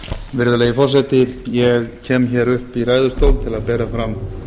virðulegi forseti ég kem hér upp í ræðustól til að bera fram